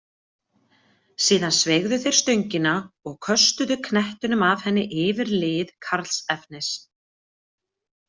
Síðan sveigðu þeir stöngina og köstuðu knettinum af henni yfir lið Karlsefnis.